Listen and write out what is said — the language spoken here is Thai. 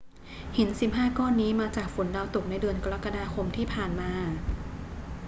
หิน 15 ก้อนนี้มาจากฝนดาวตกในเดือนกรกฎาคมที่ผ่านมา